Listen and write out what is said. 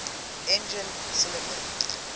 engine cylinder